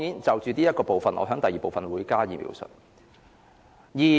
就這部分，我會在第二部分加以描述。